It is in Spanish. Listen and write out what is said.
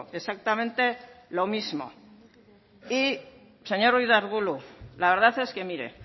exactamente lo mismo y señor ruiz de arbulo la verdad es que mire